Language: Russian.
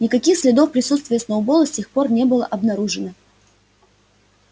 никаких следов присутствия сноуболла с тех пор не было обнаружено